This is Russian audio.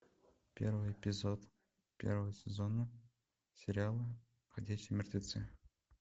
первый эпизод первого сезона сериала ходячие мертвецы